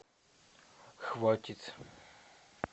хватит